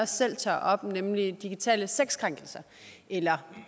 selv tager op nemlig digitale sexkrænkelser